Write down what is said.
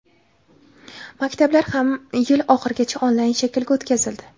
Maktablar ham yil oxirigacha onlayn shaklga o‘tkazildi.